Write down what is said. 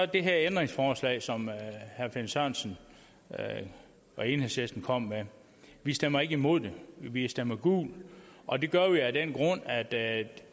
det her ændringsforslag som herre finn sørensen og enhedslisten kom med vi stemmer ikke imod det vi stemmer gult og det gør vi af den grund at det